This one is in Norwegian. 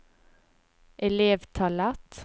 elevtallet